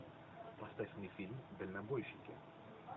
поставь мне фильм дальнобойщики